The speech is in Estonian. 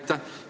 Aitäh!